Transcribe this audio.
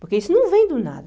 Porque isso não vem do nada.